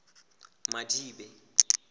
madibe